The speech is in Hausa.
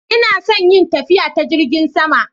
Ina son yin tafiya ta Jingin sama.